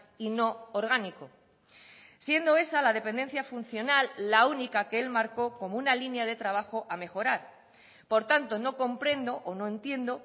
y no orgánico siendo esa la dependencia funcional la única que el marcó como una línea de trabajo a mejorar por tanto no comprendo o no entiendo